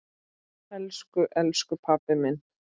Elsku elsku pabbi minn.